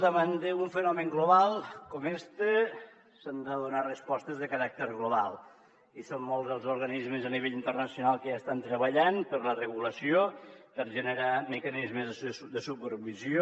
davant d’un fenomen global com este s’han de donar respostes de caràcter global i són molts els organismes a nivell internacional que ja estan treballant per la regulació per generar mecanismes de supervisió